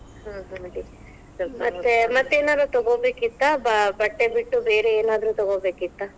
ಹಾ ಹಾ ಮತ್ತೆ~ ಮತ್ತೇನರ ತಗೊಬೇಕಿತ್ತಾ? ಬ~ ಬಟ್ಟೆ ಬಿಟ್ಟು ಬೇರೆ ಏನಾದ್ರು ತಗೋಬೇಕಿತ್ತಾ?